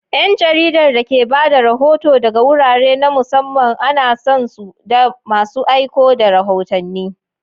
’Yan jaridar da ke ba da rahoto daga wurare na musamman ana san su da masu aiko da rahotanni.